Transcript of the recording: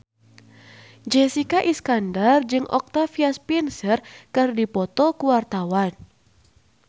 Jessica Iskandar jeung Octavia Spencer keur dipoto ku wartawan